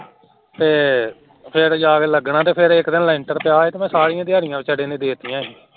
ਫੇਰ ਫੇਰ ਜਾਕੇ ਲਗਣਾ ਤੇ ਫੇਰ ਇਕ ਦਿਨ ਲੈਂਟਰ ਪਿਆ ਹੋਵੇ ਤੇ ਸਾਰੀਆਂ ਦਿਹਾੜਿਆਂ ਵਿਚਾਰੇ ਨੇ ਦਿਤੀਆਂ ਸੀ